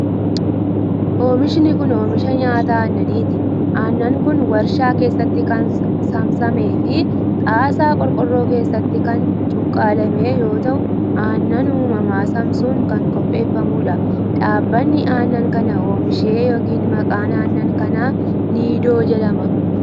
Oomishni kun, oomisha nyaata aannaniiti. Aannan kun, warshaa keessatti kan saamsamee fi xaasaa qorqorroo keessatti kan cuqqaalame yoo ta'u, aannan uumamaa saamsuun kan qopheeffamuu dha. Dhaabbanni aannan kana oomishe yokin maqaan aannan kanaa Niidoo jedhama.